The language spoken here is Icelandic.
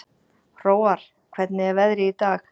Hróar, hvernig er veðrið í dag?